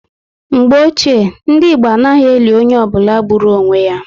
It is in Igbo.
Mgbe Ochié, ndị Igbo anaghị eli onye ọ bụla gburu onwe ya